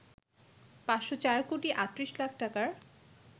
৫০৪ কোটি ৩৮ লাখ টাকার